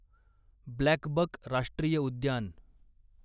ब्लॅकबक राष्ट्रीय उद्यान